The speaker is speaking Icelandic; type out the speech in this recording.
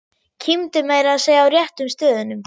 Kímdi meira að segja á réttu stöðunum.